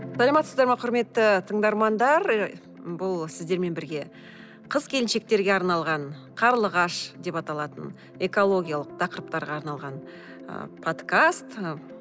саламатсыздар ма құрметті тыңдармандар ы бұл сіздермен бірге қыз келіншектерге арналған қарлығаш деп аталатын экологиялық тақырыптарға арналған ы подкаст ы